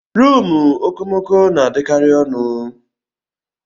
Rumụ okomoko na-adịkari ọnụ.